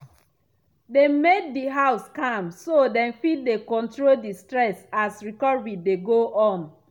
dem make di house calm so dem fit dey control di stress as recovery dey go on.